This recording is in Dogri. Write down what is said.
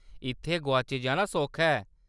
इत्थै गोआची जाना सौखा ऐ।